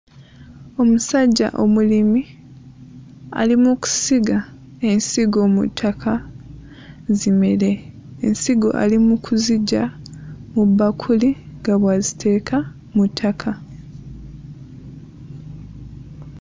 Omusajja omulimi ali mu kusiga ensingo mu ttaka zimere, ensigo ali mu kuziggya mu bbakuli nga bw'aziteeka mu ttaka.